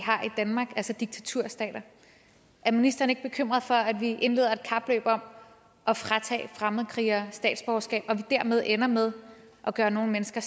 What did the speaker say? danmark altså diktaturstater er ministeren ikke bekymret for at vi indleder et kapløb om at fratage fremmedkrigere statsborgerskab og at vi dermed ender med at gøre nogle mennesker